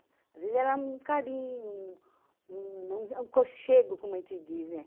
Às vezes era um carinho, um um um um conxego, como a gente diz, né?